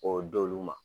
K'o d'olu ma